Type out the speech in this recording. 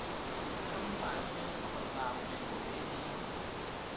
khamphane kgotsa kgwebo e e